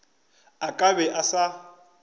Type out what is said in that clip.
a ka be a sa